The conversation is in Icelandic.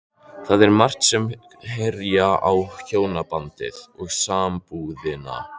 Það er margt sem herjar á hjónabandið og sambúðina.